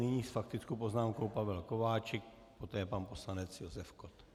Nyní s faktickou poznámkou Pavel Kováčik, poté pan poslanec Josef Kott.